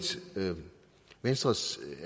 venstres